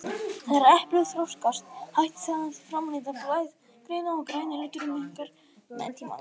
Þegar eplið þroskast hættir það að framleiða blaðgrænuna og græni liturinn minnkar með tímanum.